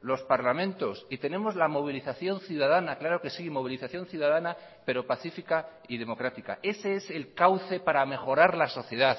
los parlamentos y tenemos la movilización ciudadana claro que sí movilización ciudadana pero pacífica y democrática ese es el cauce para mejorar la sociedad